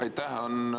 Aitäh!